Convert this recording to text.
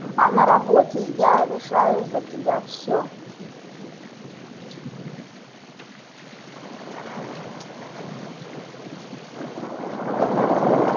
а на работе я решаю за тебя всё